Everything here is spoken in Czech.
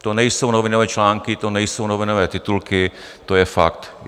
To nejsou novinové články, to nejsou novinové titulky, to je fakt.